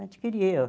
Adquiri.